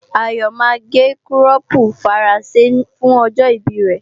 Ayọ̀ máa gé kírọ́pu Faransé fún ọjọ́ ìbí rẹ